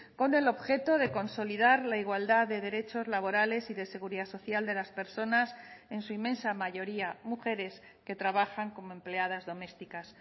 con el objeto de consolidar la igualdad de derechos laborales y de seguridad social de las personas en su inmensa mayoría mujeres que trabajan como empleadas domésticas